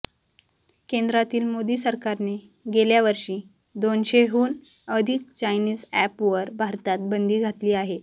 केंद्रातील मोदी सरकारने गेल्यावर्षी दोनशेहून अधिक चायनीज अॅप वर भारतात बंदी घातली आहे